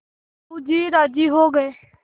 साहु जी राजी हो गये